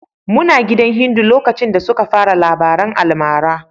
Muna gidan Hindu lokacin da suka fara labaran almarar.